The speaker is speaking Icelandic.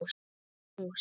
Hún er mús.